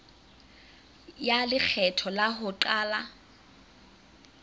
ya lekgetho la ho qala